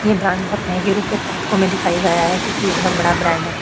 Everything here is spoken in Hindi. ये ब्रांड बहुत महंगे रूप के उत्पादकों में दिखाए गया है क्योकि ये बहुत बड़ा ब्रांड है।